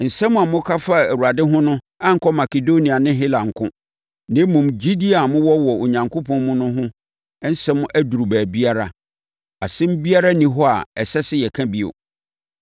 Nsɛm a moka faa Awurade ho no ankɔ Makedonia ne Hela nko, na mmom, gyidie a mowɔ wɔ Onyankopɔn mu no ho asɛm aduru baabiara. Asɛm biara nni hɔ a ɛsɛ sɛ yɛka bio.